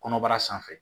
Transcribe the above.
Kɔnɔbara sanfɛ